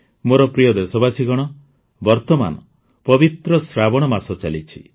ମୋର ପ୍ରିୟ ଦେଶବାସୀଗଣ ବର୍ତ୍ତମାନ ପବିତ୍ର ଶ୍ରାବଣ ମାସ ଚାଲିଛି